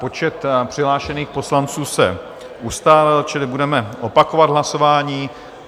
Počet přihlášených poslanců se ustálil, čili budeme opakovat hlasování.